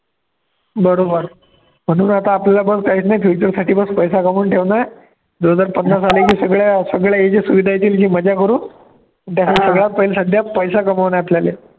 बरोबर म्हणून आता आपल्याला पण काहीच नाही future बस पैसा कमवून ठेवणं आहे, दोन हजार पन्नास आले की सगळ्या सगळ्या या ज्या सुविधा येतील ती मजा करू, पण सध्या पैसा कामावणं आहे आपल्याले